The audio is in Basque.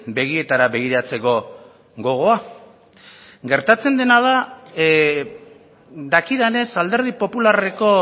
begietara begiratzeko gogoa gertatzen dena dakidanez alderdi popularreko